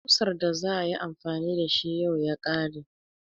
Ƙusar da za a yi amfani da shi yau ya kare.